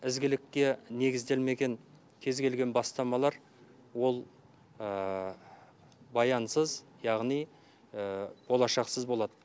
ізгілікке негізделмеген кез келген бастамалар ол баянсыз яғни болашақсыз болады